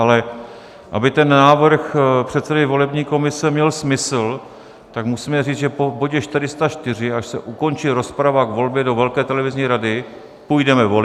Ale aby ten návrh předsedy volební komise měl smysl, tak musíme říct, že po bodě 404, až se ukončí rozprava k volbě do velké televizní rady, půjdeme volit.